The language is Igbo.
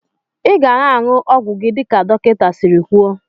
Iga na anyụ ọgwụ gi dika dọkinta siri kwụọ.